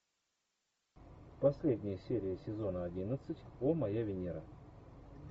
последняя серия сезона одиннадцать о моя венера